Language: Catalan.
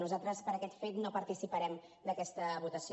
nosaltres per aquest fet no participarem d’aquesta votació